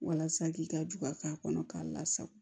Walasa k'i ka ju ka k'a kɔnɔ k'a lasago